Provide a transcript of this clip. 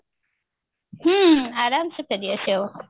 ହୁଁ ଆରମ ସେ ଫେରି ଆସିହବ